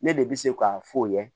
Ne de bɛ se k'a fɔ o ye